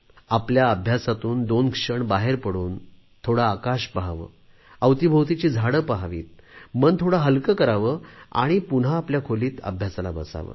आपल्या अभ्यासातून दोन क्षण बाहेर पडून थोडे आकाश पहावे अवतीभोवतीची झाडे पाहावीत मन थोडे हलके करावे आणि पुन्हा आपल्या खोलीत अभ्यासाला बसावे